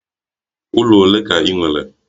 Ụlọ ole ka ị nwere?